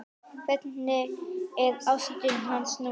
Hvernig er ástand hans núna?